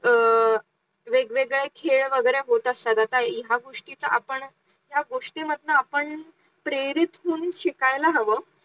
अं वेगवेगळे खेळ वगैरे होत असतात आता ह्या गोष्टीचा आपण ह्या गोष्टी मधनं आपण प्रेरित होऊन शिकायला हवं